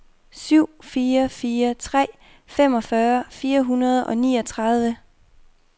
syv fire fire tre femogfyrre fire hundrede og niogtredive